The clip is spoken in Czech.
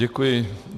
Děkuji.